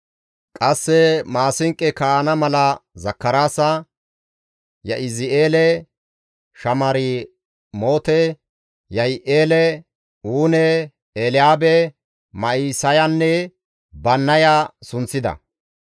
Qasse maasinqo kaa7ana mala Zakaraasa, Ya7izi7eele, Shamiramoote, Yihi7eele, Uune, Elyaabe, Ma7isayanne Bannaya sunththida.